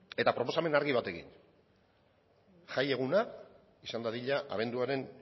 eta proposamen argi batekin jaieguna izan dadila abenduaren